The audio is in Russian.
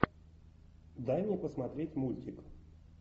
дай мне посмотреть мультик